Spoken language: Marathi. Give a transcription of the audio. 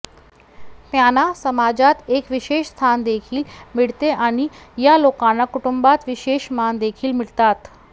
त्यांना समाजात एक विशेष स्थान देखील मिळते आणि या लोकांना कुटुंबात विशेष मान देखील मिळतात